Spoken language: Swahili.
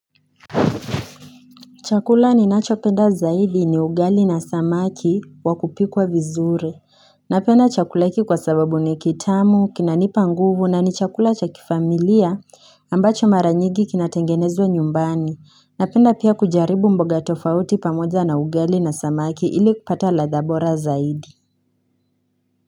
Chakula ninacho penda zaidi ni ugali na samaki wakupikwa vizuri. Napenda chakula hiki kwa sababu ni kitamu, kinanipa nguvu na ni chakula cha kifamilia ambacho mara nyingi kinatengenezwa nyumbani. Napenda pia kujaribu mboga tofauti pamoja na ugali na samaki ili kupata ladha bora zaidi.